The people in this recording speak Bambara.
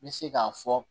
N bɛ se k'a fɔ